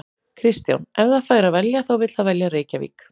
Kristján: Ef það fær að velja þá vill það velja Reykjavík?